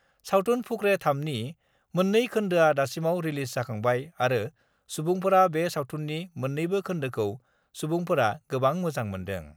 सावथुन फुकरे-3 नि मोननै खोन्दोआ दासिमाव रिलिज जाखांबाय आरो सुबुंफोरा बे सावथुननि मोननैबो खोन्दोखौ सुबुंफोरा गोबां मोजां मोन्दों।